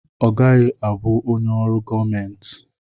Ọ gaghị abụ onye ọrụ gọọmenti.